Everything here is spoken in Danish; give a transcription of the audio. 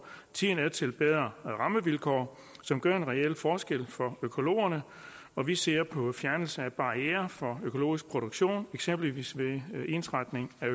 tiden er til bedre rammevilkår som gør en reel forskel for økologerne og vi ser på fjernelse af barrierer for økologisk produktion eksempelvis ved ensretning af